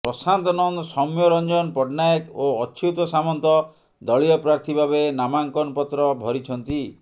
ପ୍ରଶାନ୍ତ ନନ୍ଦ ସୌମ୍ୟରଂଜନ ପଟ୍ଟନାୟକ ଓ ଅଚ୍ୟୁତ ସାମନ୍ତ ଦଳୀୟ ପ୍ରାର୍ଥୀ ଭାବେ ନାମାଙ୍କନ ପତ୍ର ଭରିଛନ୍ତି